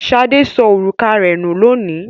Ṣadé sọ òrùka rẹ̀ nú lónìí.